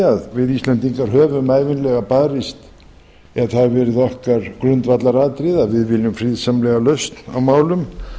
að við íslendingar höfum ævinlega barist eða það hefur verið okkar grundvallaratriði að við viljum friðsamlega lausn á málum